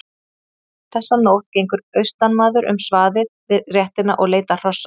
Þessa nótt gengur austanmaður um svaðið við réttina og leitar hrossa.